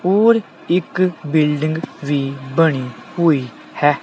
ਹੋਰ ਇੱਕ ਬਿਲਡਿੰਗ ਵੀ ਬਣੀ ਹੋਈ ਹੈ।